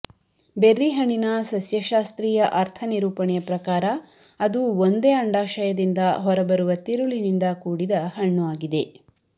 berry ಹಣ್ಣಿ ನ ಸಸ್ಯಶಾಸ್ತ್ರೀಯ ಅರ್ಥನಿರೂಪಣೆಯ ಪ್ರಕಾರ ಅದು ಒಂದೇ ಅಂಡಾಶಯದಿಂದ ಹೊರಬರುವ ತಿರುಳಿನಿಂದ ಕೂಡಿದ ಹಣ್ಣು ಆಗಿದೆ